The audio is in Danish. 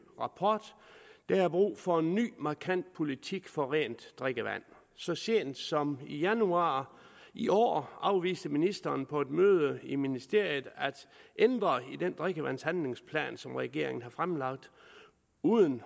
rapport der er brug for en ny markant politik for rent drikkevand så sent som i januar i år afviste ministeren på et møde i ministeriet at ændre i den drikkevandshandlingsplan som regeringen havde fremlagt uden